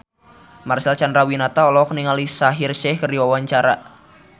Marcel Chandrawinata olohok ningali Shaheer Sheikh keur diwawancara